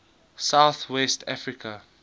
south west africa